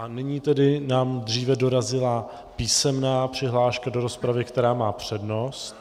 A nyní tedy nám dříve dorazila písemná přihláška do rozpravy, která má přednost.